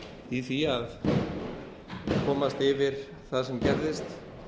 í því að komast yfir það sem gerðist